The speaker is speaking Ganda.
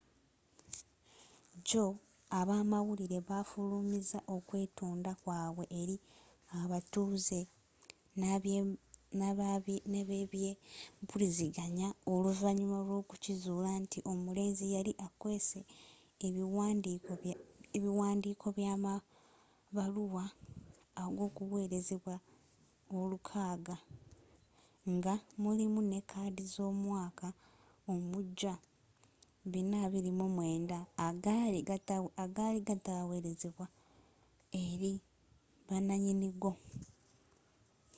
jjo abamabaluwa bafulumiza okwetonda kwabwe eri abatuuze n'abebyempuliziganya oluvanyuma lwokukizuula nti omulenzi yali akweese ebiwandiiko byamabaluwa ag'okuwerezebwa 600 nga mulimu ne kaadi z'omwaka omujja 429 agaali gatawerezedwa eri bananyinigo